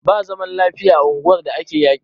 Ba zaman lafiya a unguwar da ake yaƙi.